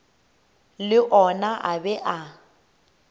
le ona a be a